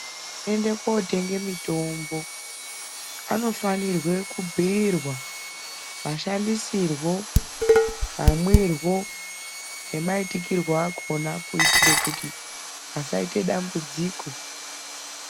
Ende kotenge mutombo anofanire kubhirwa mashandisirwo mamwirwo nemaitikirwo akhona kuitire kuti asaite dambudziko.